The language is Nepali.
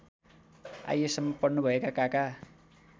आइएसम्म पढ्नुभएका काका